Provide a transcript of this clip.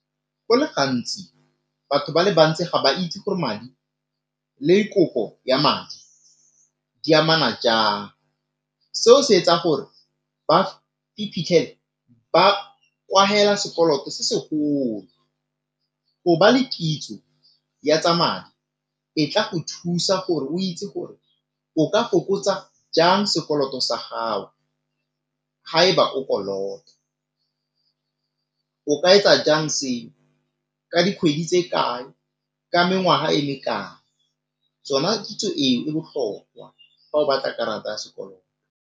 Go le gantsi batho ba le bantsi ga ba itse gore madi le kopo ya madi di amana jang, seo se etsa gore ba iphitlhele ba sekoloto se segolo. Go ba le kitso ya tsa madi e tla go thusa gore o itse gore o ka fokotsa jang sekoloto sa gago ga e ba o kolota. O ka etsa jang seo ka dikgwedi tse kae, ka mengwaga e me kae, tsona kitso eo e botlhokwa fa o batla karata ya sekoloto.